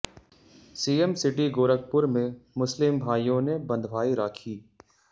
CM city Gorakhpur में मुस्लिम भाइयों ने बंधवाई राखी